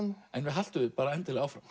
haltu endilega áfram